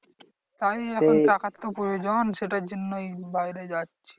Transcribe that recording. তাই এখন টাকার তো প্রয়োজন সেটার জন্যই বাইরে যাচ্ছি।